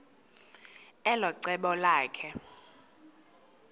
elo cebo lakhe